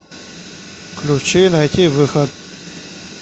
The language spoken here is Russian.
включи найтивыход